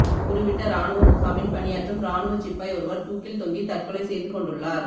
குருவிட்ட இராணுவ முகாமில் பணியாற்றும் இராணுவச் சிப்பாய் ஒருவர் தூக்கில் தொங்கி தற்கொலை செய்து கொண்டுள்ளார்